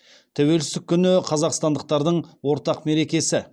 тәуелсіздік күні қазақстандықтардың ортақ мерекесі